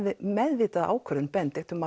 meðvitaða ákvörðun Benedikt